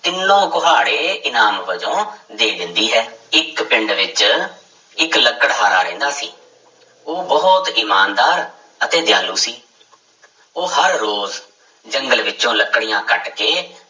ਤਿੰਨੋ ਕੁਹਾੜੇ ਇਨਾਮ ਵਜੋਂ ਦੇ ਦਿੰਦੀ ਹੈ, ਇੱਕ ਪਿੰਡ ਵਿੱਚ ਇੱਕ ਲਕੜਹਾਰਾ ਰਹਿੰਦਾ ਸੀ, ਉਹ ਬਹੁਤ ਇਮਾਨਦਾਰ ਅਤੇ ਦਿਆਲੂ ਸੀ ਉਹ ਹਰ ਰੋਜ਼ ਜੰਗਲ ਵਿੱਚੋਂ ਲੱਕੜੀਆਂ ਕੱਟ ਕੇ